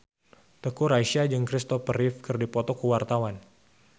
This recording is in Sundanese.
Teuku Rassya jeung Christopher Reeve keur dipoto ku wartawan